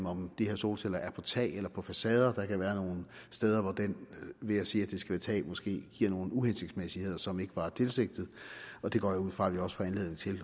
om de her solceller er på tag eller på facader der kan være nogle steder hvor det ved at sige at det skal være tag måske giver nogle uhensigtsmæssigheder som ikke var tilsigtet og det går jeg ud fra at vi også får anledning til